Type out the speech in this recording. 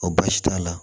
Ɔ baasi t'a la